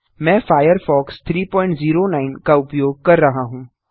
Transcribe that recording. मैं फायरफॉक्स 309 का उपयोग कर रहा हूँ